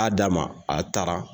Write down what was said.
A y'a d'a ma. A taara!